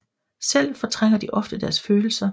Selv fortrænger de ofte deres følelser